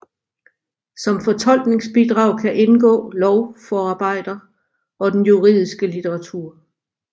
Som fortolkningsbidrag kan indgå lovforarbejder og den juridiske litteratur